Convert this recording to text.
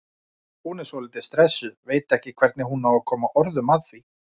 Hún er svolítið stressuð, veit ekki hvernig hún á að koma orðum að því.